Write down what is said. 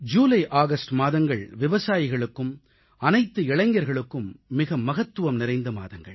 ஜூலைஆகஸ்ட் மாதங்கள் விவசாயிகளுக்கும் அனைத்து இளைஞர்களுக்கும் மிக மகத்துவம் நிறைந்த மாதங்கள்